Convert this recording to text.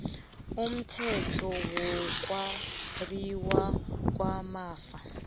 kumthetho wokwabiwa kwamafa